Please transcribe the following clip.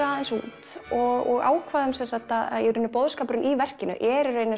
aðeins út og ákváðum sem sagt að boðskapurinn í verkinu er í raun